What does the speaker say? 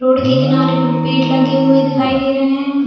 Road के किनारे पर पेड़ लगे हुए दिखाई दे रहे है।